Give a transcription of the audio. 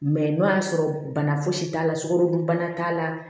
Mɛ n'o y'a sɔrɔ bana fosi t'a la sukarodunbana t'a la